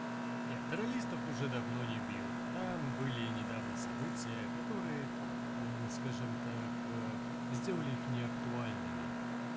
нет реалистов уже давно не бьют там были недавно события которые скажем так сделали их неактуальными